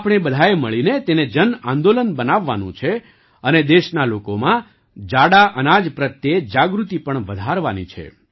આપણે બધાએ મળીને તેને જન આંદોલન બનાવવાનું છે અને દેશના લોકોમાં જાડા અનાજ પ્રત્યે જાગૃતિ પણ વધારવાની છે